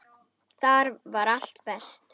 Þar var allt best.